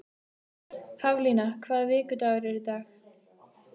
Haflína, hvaða vikudagur er í dag?